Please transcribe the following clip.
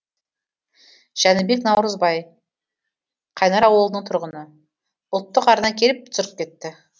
жәнібек наурызбай қайнар ауылының тұрғыны ұлттық арна келіп түсіріп кетті